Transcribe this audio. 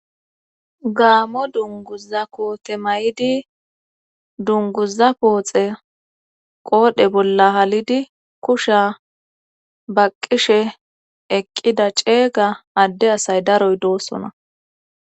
gaamo dunguza koote may7idi dunguza pooxe qoodhe bolla halidi kusha baqqishe eqqida ceega adde asay daroy doosona